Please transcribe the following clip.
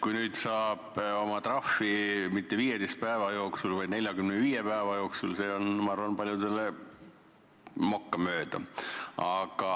Kui nüüd saab oma trahvi maksta mitte 15 päeva jooksul, vaid 45 päeva jooksul, siis see on, ma arvan, paljudele mokka mööda.